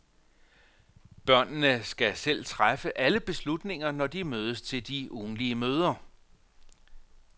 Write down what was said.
Børnene skal selv træffe alle beslutninger, når de mødes til de ugentlige møder.